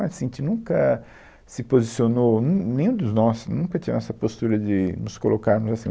Assim, a gente nunca se posicionou, nem, nenhum dos nossos nunca tinha essa postura de nos colocarmos assim.